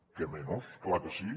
què menys clar que sí